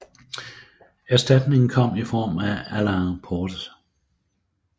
Erstatningen kom i form af Alain Portes